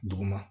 Duguma